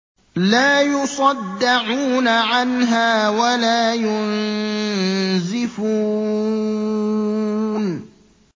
لَّا يُصَدَّعُونَ عَنْهَا وَلَا يُنزِفُونَ